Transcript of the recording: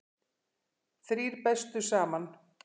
Þrír bestu saman